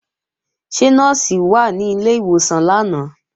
Ṣé Nọ́ọ̀sì wà ní ilé ìwòsàn lánàá?